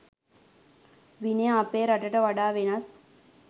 විනය අපේ රටට වඩා වෙනස්.